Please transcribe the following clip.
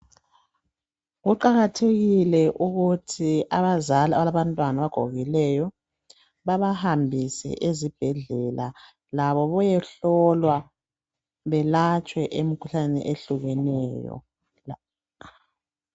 Kuqakathekile ukuthi abazali abalabantwana abagogekileyo. Bebahambise ezibhedlela labo beyehlolwa belatshwe emikhuhlaneni ehlukeneyo.